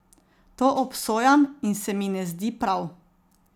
To obsojam in se mi ne zdi prav.